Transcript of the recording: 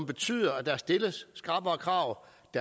betyder at der stilles skrappere krav